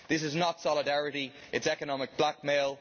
This is not solidarity, it is economic blackmail.